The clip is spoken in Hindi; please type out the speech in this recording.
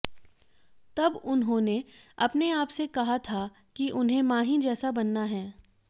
तब उन्होंने अपने आप से कहा था कि उन्हें माही जैसा बनना है